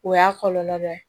O y'a kɔlɔlɔ dɔ ye